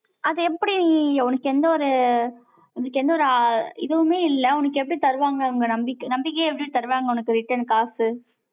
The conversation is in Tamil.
அது, எப்படி, உனக்கு, எந்த ஒரு, எந்த ஒரு இதுவுமே இல்லை. உனக்கு எப்படி தருவாங்க அவங்க நம்பிக்கைய எப்படி தருவாங்க உனக்கு return காசு?